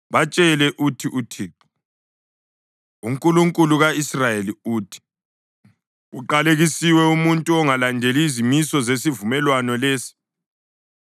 Batshele uthi uThixo, uNkulunkulu ka-Israyeli, uthi: ‘Uqalekisiwe umuntu ongalandeli izimiso zesivumelwano lesi,